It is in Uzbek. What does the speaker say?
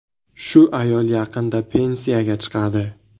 Shu ayol yaqinda pensiyaga chiqadi.